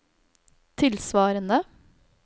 tilsvarende